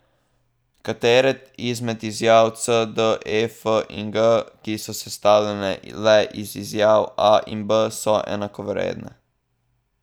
Katere izmed izjav C, D, E, F in G, ki so sestavljene le iz izjav A in B, so enakovredne?